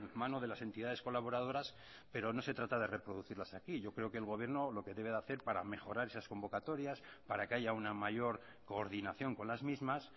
mano de las entidades colaboradoras pero no se trata de reproducirlas aquí yo creo que el gobierno lo que debe de hacer para mejorar esas convocatorias para que haya una mayor coordinación con las mismas